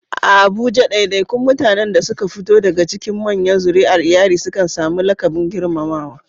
A Abuja, ɗaiɗaikun mutanen da suka fito daga cikin manyan zuri'ar iyali sukan sami laƙabin girmamawa.